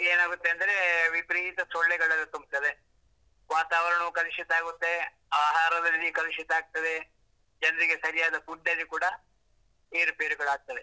ಏನಾಗುತ್ತೆ ಅಂದ್ರೆ, ವಿಪರೀತ ಸೊಳ್ಳೆಗಳೆಲ್ಲ ತುಂಬ್ತವೆ ವಾತಾವರಣವು ಕಲುಷಿತ ಆಗುತ್ತೆ, ಆಹಾರದಲ್ಲಿ ಕಲುಷಿತ ಆಗ್ತದೆ, ಜನರಿಗೆ ಸರಿಯಾದ food ಅಲ್ಲಿ ಕೂಡಾ ಏರು ಪೇರುಗಳಾಗ್ತವೆ.